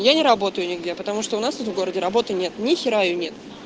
я не работаю нигде потому что у нас тут в городе работы нет ни хера её нет